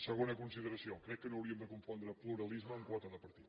segona consideració crec que no hauríem de confondre pluralisme amb quota de partit